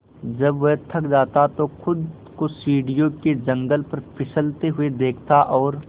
जब वह थक जाता तो खुद को सीढ़ियों के जंगले पर फिसलते हुए देखता और